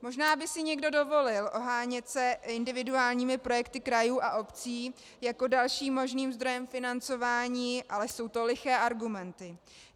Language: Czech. Možná by si někdo dovolil ohánět se individuálními projekty krajů a obcí jako dalším možným zdrojem financování, ale jsou to liché argumenty.